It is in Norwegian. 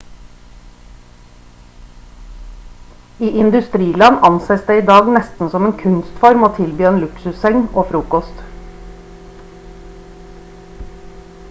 i industriland anses det i dag nesten som en kunstform å tilby en luksusseng og frokost